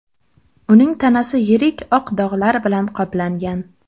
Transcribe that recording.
Uning tanasi yirik oq dog‘lar bilan qoplangan.